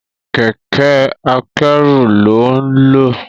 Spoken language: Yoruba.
Kẹ̀kẹ́ akẹ́rù lón nlọ